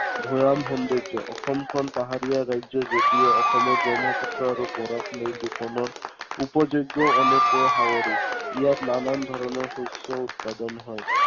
ভৈয়াম সৌন্দৰ্য। অসমখন পাহাৰীয়া ৰাজ্য় যদিও অসমৰ ব্ৰহ্মপুত্ৰ আৰু বৰাক লৈ দুখনো উপযোগ্য় অনেক ইয়াত নানান ধৰণৰ শস্য় উৎপাদন হয়।